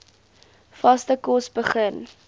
vaste kos begin